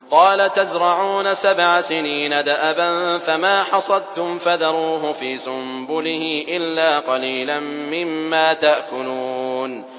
قَالَ تَزْرَعُونَ سَبْعَ سِنِينَ دَأَبًا فَمَا حَصَدتُّمْ فَذَرُوهُ فِي سُنبُلِهِ إِلَّا قَلِيلًا مِّمَّا تَأْكُلُونَ